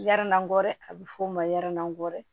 Yaara ngɔɛ a bɛ f'o ma yɛrɛni